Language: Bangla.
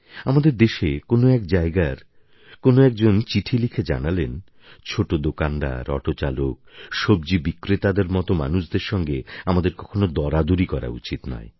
আমাদের দেশের কোনও এক জায়গার কোনও একজন চিঠি লিখে জানালেন ছোট দোকানদার অটো চালক সবজি বিক্রেতাদের মতো মানুষদের সঙ্গে আমাদের কখনও দরাদরি করা উচিত নয়